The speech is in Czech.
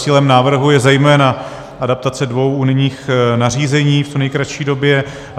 Cílem návrhu je zejména adaptace dvou unijních nařízení v co nejkratší době.